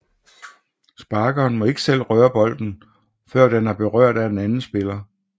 Sparkeren må ikke selv røre bolden før den er berørt af en anden spiller